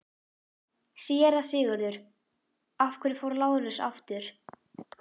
SÉRA SIGURÐUR: Af hverju fór Lárus aftur?